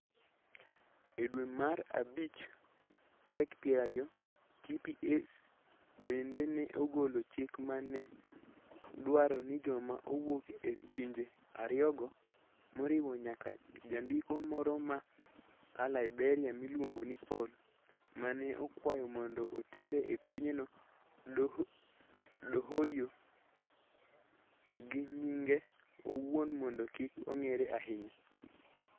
E dwe mar dwe mara bich tarik 20, TPS bende ne ogolo chik ma ne dwaro ni joma owuok e pinje ariyogo, moriwo nyaka jandiko moro ma a Liberia miluongo ni Paul, ma ne okwayo mondo otere e pinyno Dohoiyo gi nyinge owuon mondo kik ong'ere ahinya.